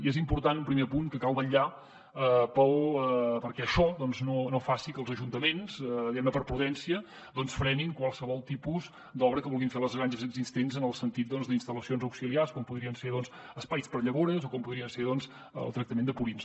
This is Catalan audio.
i és important un primer apunt que cal vetllar perquè això no faci que els ajuntaments diguemne per prudència frenin qualsevol tipus d’obra que vulguin fer les granges existents en el sentit d’instal·lacions auxiliars com podrien ser espais per a llavors o com podria ser el tractament de purins